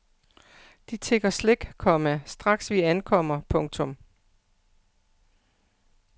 De tigger slik, komma straks vi ankommer. punktum